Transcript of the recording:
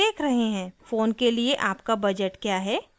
phone के लिए आपका बजट क्या है